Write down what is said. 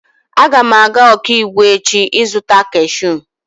Aga m aga Okigwe echi izuta kashụụ.